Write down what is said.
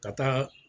Ka taa